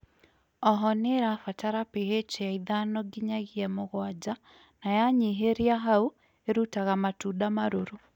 ooho nĩ ĩrabatara PH ya ĩthano ngĩnyagĩa mũgwanja na yanyĩhĩrĩa haũ ĩrũtaga matũnda marũrũ